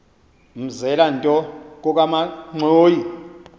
mzela nto kokamanxhoyi